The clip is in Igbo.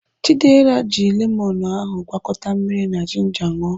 Chidera ji lemonụ́ ahụ gwakọta mmiri na jinja ṅụọ.